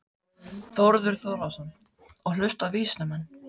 Þórður Þórðarson: Og hlusta á vísindamenn?